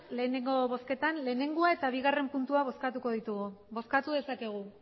lehenengo bozketan batgarrena eta bigarrena puntuak bozkatuko ditugu bozkatu dezakegu